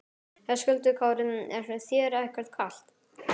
Höskuldur Kári: Er þér ekkert kalt?